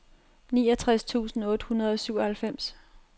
niogtres tusind otte hundrede og syvoghalvfems